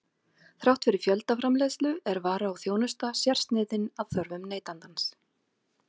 Þrátt fyrir fjöldaframleiðslu er vara og þjónusta sérsniðin að þörfum neytandans.